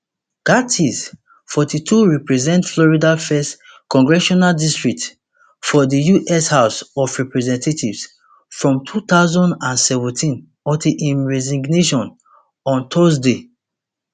gaetz forty-two represent florida first congressional district for di us house of representatives from two thousand and seventeen until im resignation on thursday